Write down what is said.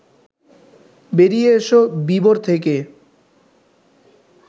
বেরিয়ে এস বিবর থেকে